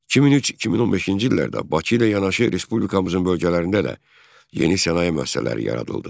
2003-2015-ci illərdə Bakı ilə yanaşı respublikamızın bölgələrində də yeni sənaye müəssisələri yaradıldı.